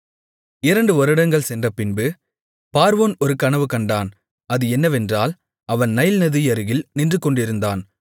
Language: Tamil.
இரண்டு வருடங்கள் சென்றபின்பு பார்வோன் ஒரு கனவு கண்டான் அது என்னவென்றால் அவன் நைல் நதியருகில் நின்றுகொண்டிருந்தான்